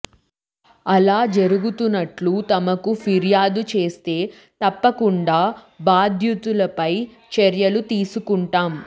అలా జరుగుతున్నట్లు తమకు ఫిర్యాదు చేస్తే తప్పకుండా బాధ్యులపై చర్యలు తీసుకుంటాం